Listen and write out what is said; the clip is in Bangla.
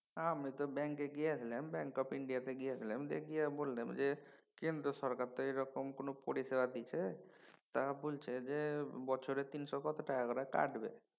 আমি তো ব্যাঙ্কে গিয়েছিলাম bank of India তে গিয়েছিলাম তে গিয়ে বললাম যে কেন্দ্র সরকার তো এরকম কোনও পরিষেবা দিছে তা বলছে যে বছরে তিনশো কত টাকা করে কাটবে